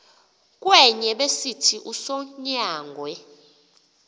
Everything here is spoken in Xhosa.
kwenye besithi usonyangwe